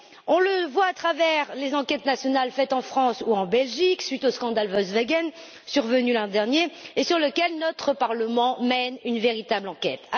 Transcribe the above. On le voit à travers les enquêtes nationales faites en France ou en Belgique, suite au scandale Volkswagen survenu l'an dernier, et sur lequel notre Parlement mène une véritable enquête.